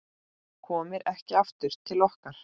Komir ekki aftur til okkar.